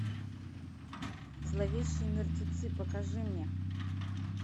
зловещие мертвецы покажи мне